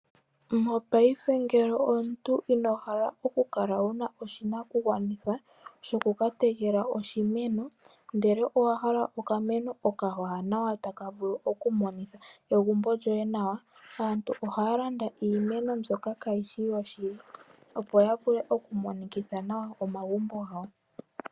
Mopayife ngele omuntu ino hala oku kala wuna oshinakugwanitha shoku ka tekela oshimeno ndele owa hala okameno okawanawa taka vulu okumonikitha egumbo nawa, aantu ohaya landa iimeno mbyoka kayishi yoshili opo ya vuke okumonikitha nawa omagumbo gawo.